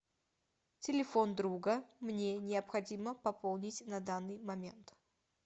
телефон друга мне необходимо пополнить на данный момент